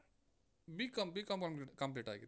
B.Com B.Com com~ complete ಆಗಿದೆ.